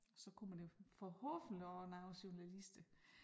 Så kommer der forhåbentlig også nogle journalister